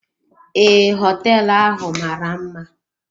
Ee, hoteelu ahụ mara mma.